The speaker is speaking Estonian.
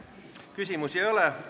Küsimusi ei ole.